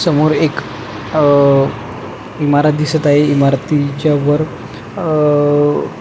समोर एक अह इमारत दिसत आहे इमारतीच्या वर अह --